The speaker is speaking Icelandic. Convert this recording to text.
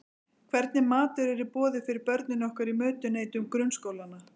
Hvernig matur er í boði fyrir börnin okkar í mötuneytum grunnskólanna?